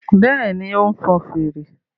Bẹ́ẹ̀ni, ó ń fọn fèrè